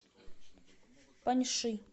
паньши